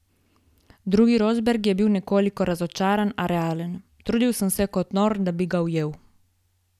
Drugi Rosberg je bil nekoliko razočaran, a realen: 'Trudil sem se kot nor, da bi ga ujel.